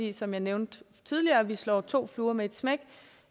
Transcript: er som jeg nævnte tidligere at vi slår to fluer med ét smæk